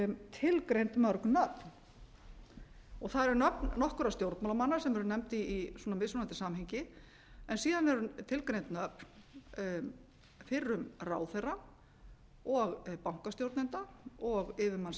tilgreind mörg nöfn og það eru nöfn nokkurra stjórnmálamanna sem eru nefnd í mismunandi samhengi en síðan eru tilgreind nöfn fyrrum ráðherra og bankastjórnenda og yfirmanns